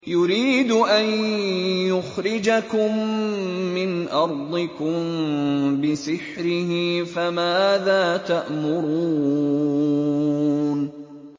يُرِيدُ أَن يُخْرِجَكُم مِّنْ أَرْضِكُم بِسِحْرِهِ فَمَاذَا تَأْمُرُونَ